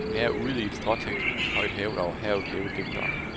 Herude, i et stråtækt hus højt hævet over havet, lever digteren.